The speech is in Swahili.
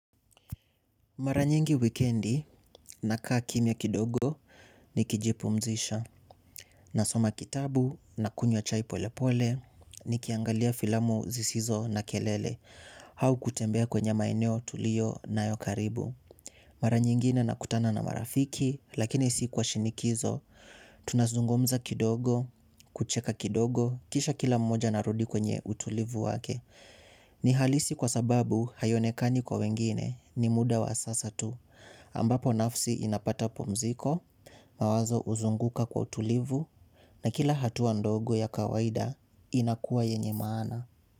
Mara nyingi wikendi nakaa kimya kidogo nikijipumzisha. Nasoma kitabu na kunywa chai polepole, nikiangalia filamu zisizo na kelele. Au kutembea kwenye maeneo tulio nayo karibu. Mara nyingine nakutana na marafiki lakini si kwa shinikizo. Tunazungumza kidogo, kucheka kidogo, kisha kila mmoja anarudi kwenye utulivu wake. Ni halisi kwa sababu haionekani kwa wengine, ni muda wa sasa tu. Ambapo nafsi inapata pumziko, mawazo huzunguka kwa utulivu na kila hatua ndogo ya kawaida inakuwa yenye maana.